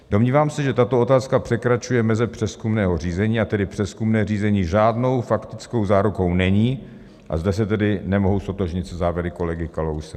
Domnívám se, že tato otázka překračuje meze přezkumného řízení, a tedy přezkumné řízení žádnou faktickou zárukou není, a zde se tedy nemohu ztotožnit se závěry kolegy Kalouse.